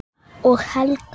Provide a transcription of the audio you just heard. Og Helga!